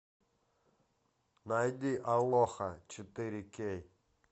найди алоха четыре кей